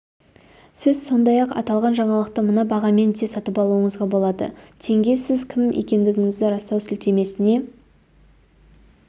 сіз сондай-ақ аталған жаңалықты мына бағамен де сатып алуыңызға болады тенге сіз кім екендігіңізді растау сілтемесіне